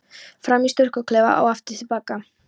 Fram í sturtuklefa og aftur til baka.